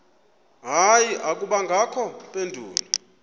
hayi akubangakho mpendulo